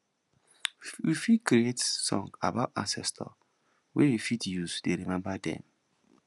we fit create song about ancestor wey we fit use dey remember them